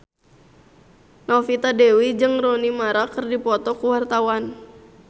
Novita Dewi jeung Rooney Mara keur dipoto ku wartawan